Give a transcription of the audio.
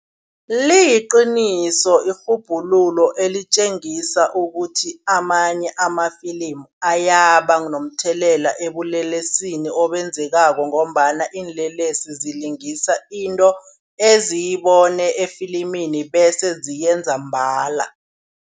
Liqiniso irhubhululo elitjengisa ukuthi amanye amafilimu ayababa nomthelela ebulelesini obenzekako ngombana iinlelesi zilingilisa into eziyibone efilimini bese ziyenza mbala.